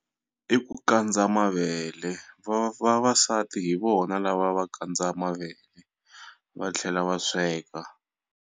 I ku kandza mavele va vavasati hi vona lava va kandza mavele va tlhela va sweka.